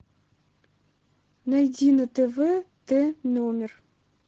найди на тв т номер